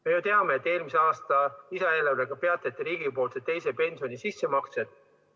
Me ju teame, et eelmise aasta lisaeelarvega peatati riigipoolsed teise pensioni sissemaksed.